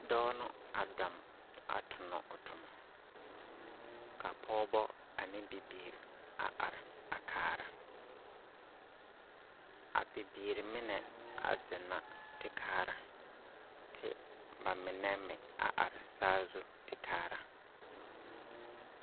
Dɔɔ no a dam a tonɔ o tomɔ. Ka pɔɔbɔ ane bibiiri a are a kaara. A bibiiri menɛ a zeŋ na te kaara, te ba menɛ mea are saazu te kaara.